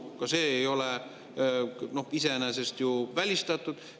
Ka see ei ole iseenesest ju välistatud.